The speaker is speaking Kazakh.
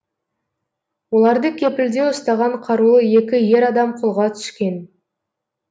оларды кепілде ұстаған қарулы екі ер адам қолға түскен